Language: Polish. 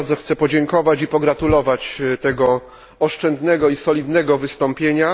Też bardzo chcę podziękować i pogratulować tego oszczędnego i solidnego wystąpienia.